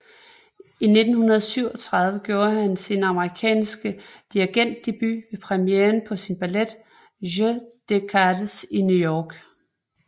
I 1937 gjorde han sin amerikanske dirigentdebut ved premieren på sin ballet Jeu de cartes i New York